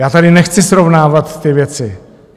Já tady nechci srovnávat ty věci.